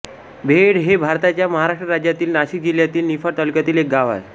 बेहेड हे भारताच्या महाराष्ट्र राज्यातील नाशिक जिल्ह्यातील निफाड तालुक्यातील एक गाव आहे